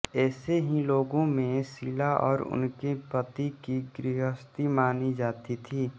ऐसे ही लोगों में शीला और उनके पति की गृहस्थी मानी जाती थी